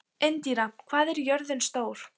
Indíra, hvað er jörðin stór?